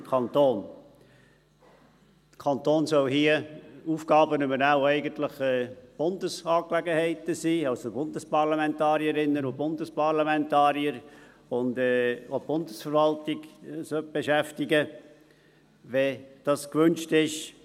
Der Kanton soll hier Aufgaben übernehmen, die eigentlich Bundesangelegenheiten sind, also die Bundesparlamentarierinnen und Bundesparlamentarier und auch die Bundesverwaltung beschäftigen sollte, wenn dies gewünscht ist.